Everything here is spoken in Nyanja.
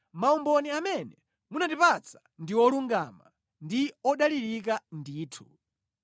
Maumboni amene munatipatsa ndi olungama; ndi odalirika ndithu.